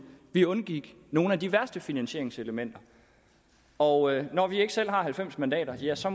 vi undgik nogle af de værste finansieringselementer og når vi ikke selv har halvfems mandater ja så